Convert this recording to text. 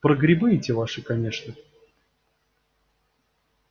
про грибы эти ваши конечно